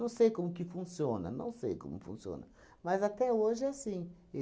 sei como que funciona, não sei como funciona, mas até hoje é assim.